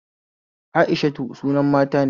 Aishatu sunan mata ne